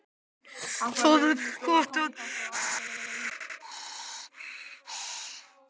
Það er gott að þú sérð það.